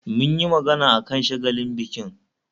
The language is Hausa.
Mun yi magana akan shagalin bikin